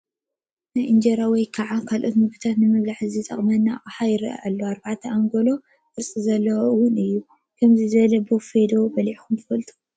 ናይ እንጀራ ወይ ከዓ ካልኦት ምግብታት ንምብላዕ ዝጠቕም ኣቕሓ ይረአ ኣሎ፡፡ 4+ ኣንጎሎ ቅርፂ ዘለዎ ውን እዩ፡፡ ብኸምዚ ዝበለ ቦፌ ዶ በሊዕኹም ትፈልጡ?